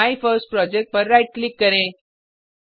my first project पर right click करें